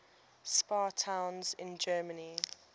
spa towns in germany